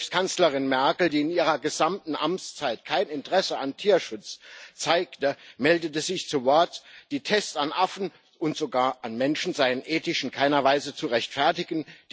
Selbst Kanzlerin Merkel, die in ihrer gesamten Amtszeit kein Interesse an Tierschutz zeigte, meldete sich zu Wort Die Tests an Affen und sogar an Menschen seien ethisch in keiner Weise zu rechtfertigen.